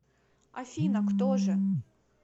афина кто же